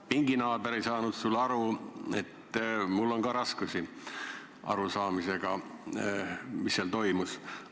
No pinginaaber ei saanud sust aru ja mul on ka raskusi arusaamisega, mis komisjonis toimus.